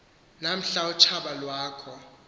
namhla utshaba lwakho